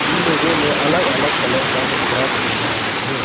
इन लोगों ने अलग अलग कलर का कपड़ा पहना हुआ है।